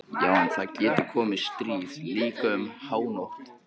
Já en það getur komið stríð, líka um hánótt.